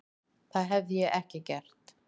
Það hefði ég ekki gert.